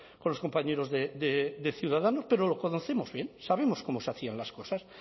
con los compañeros de ciudadanos pero lo conocemos bien sabemos cómo se hacían las cosas